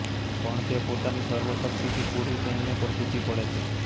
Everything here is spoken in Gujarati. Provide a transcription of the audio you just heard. પણ તે પોતાની સર્વ શક્તિથી કુરુ સૈન્ય પર તૂટી પડે છે